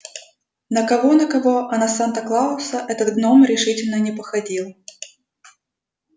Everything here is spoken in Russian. на кого на кого а на санта-клауса этот гном решительно не походил